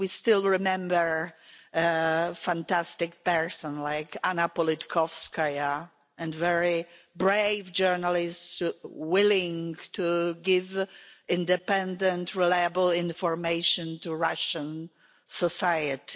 We still remember a fantastic person like Anna Politkovskaya, and very brave journalists willing to give independent, reliable information to Russian society.